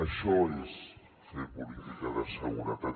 això és fer política de seguretat